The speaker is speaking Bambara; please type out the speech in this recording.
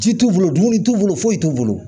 Ji t'u bolo dumuni t'u bolo foyi t'u bolo